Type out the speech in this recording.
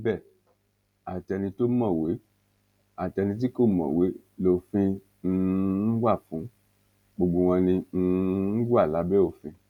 síbẹ àti ẹni tó mọwé àtẹni tí kò mọwé lófin um wá fún gbogbo wọn ni um wọn wà lábẹ òfin